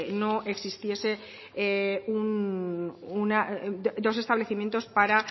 no existiese dos establecimientos para